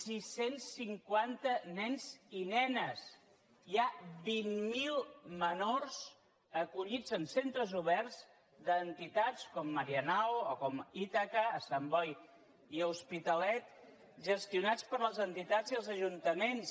sis cents cinquanta nens i nenes hi ha vint mil menors acollits en centres oberts d’entitats com marianao o ítaca a sant boi i a l’hospitalet gestionats per les entitats i els ajuntaments